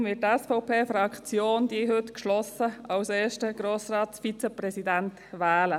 Deshalb wird die SVP-Fraktion Sie heute geschlossen zum ersten Vizepräsidenten wählen.